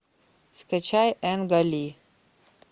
скачай энга ли